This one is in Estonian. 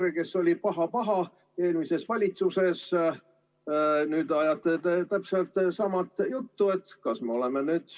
EKRE oli eelmises valitsuses paha-paha, aga nüüd ajate te ise täpselt sama juttu.